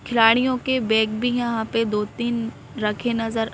खिलाड़ियों के बैग भी यहाँ पे दो-तीन रखे नजर--